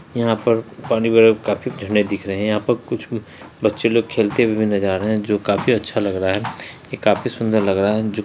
यहाँ पर पानी वाले काफी ज़रणे दिख रहे है यहाँ पर कुछ बी बच्चे लोग खेलते हुए नजर आ रहे है जो काफी अच्छा लग रहा है ये काफी सुंदर लग रहा है। जो --